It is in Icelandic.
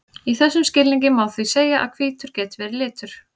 í þessum skilningi má því segja að hvítur geti verið litur